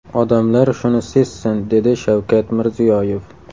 Odamlar shuni sezsin”, dedi Shavkat Mirziyoyev.